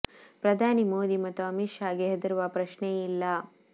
ಪ್ರಧಾನಿ ಮೋದಿ ಮತ್ತು ಅಮೀತ್ ಷಾ ಗೆ ಹೆದರುವ ಪ್ರಶ್ನೆಯೇ ಇಲ್ಲ